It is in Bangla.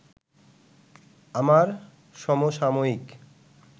আমার সমসাময়িক